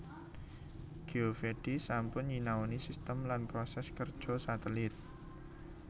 Geovedi sampun nyinaoni sistem lan proses kerja satelit